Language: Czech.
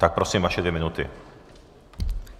Tak prosím, vaše dvě minuty.